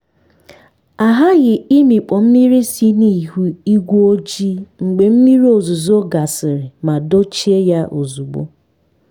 a ghaghị ịmịkpọ mmiri si n’ihu ígwé ojii mgbe mmiri ozuzo gasịrị ma dochie ya ozugbo.